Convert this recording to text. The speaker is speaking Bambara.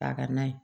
Ka n'a ye